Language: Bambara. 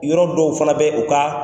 Yɔrɔ dɔw fana bɛ u ka